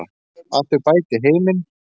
Að þau bæti heiminn.